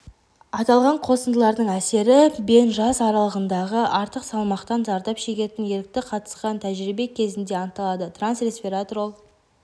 аталған қосындылардың әсері бен жас аралығындағы артық салмақтан зардап шегетін ерікті қатысқан тәжірибе кезінде анықталды транс-ресвератрол